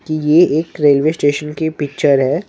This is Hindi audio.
कि यह एक रेलवे स्टेशन की पिक्चर हैं।